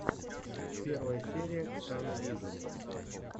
первая серия ксаны вижн